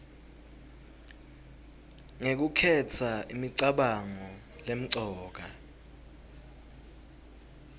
ngekukhetsa imicabango lemcoka